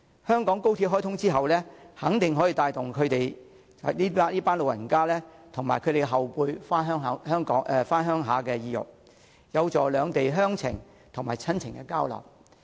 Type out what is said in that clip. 香港高鐵開通後，肯定可以帶動這群長者及其後輩回鄉的意欲，有助兩地鄉情和親情交流。